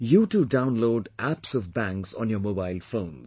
You too download Apps of Banks on your mobile phones